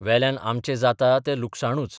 वेल्यान आमचें जाता तें लुकसाणूच.